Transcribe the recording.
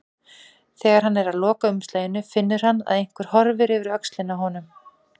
Þegar hann er að loka umslaginu finnur hann að einhver horfir yfir öxlina á honum.